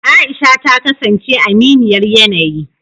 aisha ta kasance aminiyar yanayi